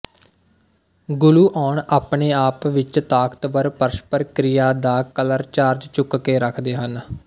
gluon ਆਪਣੇ ਆਪ ਵਿੱਚ ਤਾਕਤਵਰ ਪਰਸਪਰ ਕ੍ਰਿਆ ਦਾ ਕਲਰ ਚਾਰਜ ਚੁੱਕ ਕੇ ਰੱਖਦੇ ਹਨ